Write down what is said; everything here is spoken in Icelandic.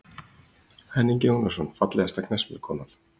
Henning Jónasson Fallegasta knattspyrnukonan?